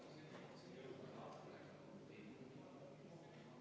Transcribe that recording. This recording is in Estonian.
Ja sain ma õigesti aru, et soovite ka vaheaega?